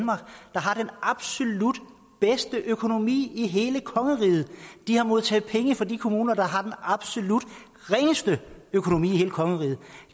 har den absolut bedste økonomi i hele kongeriget de har modtaget penge fra de kommuner der har den absolut ringeste økonomi i hele kongeriget